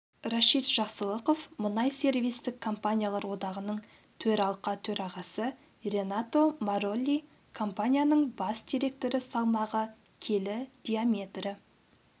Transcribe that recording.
рашид жақсылықов мұнай сервистік компаниялар одағының төралқа төрағасы ренато маролли компанияның бас директоры салмағы келі диаметрі